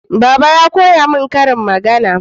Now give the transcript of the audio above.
Baba ya koya mun ƙarin magana